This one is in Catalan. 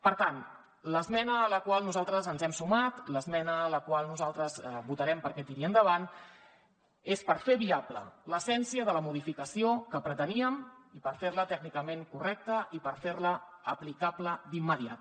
per tant l’esmena a la qual nosaltres ens hem sumat l’esmena a la qual nosaltres votarem perquè tiri endavant és per fer viable l’essència de la modificació que preteníem i per fer la tècnicament correcta i per fer la aplicable d’immediat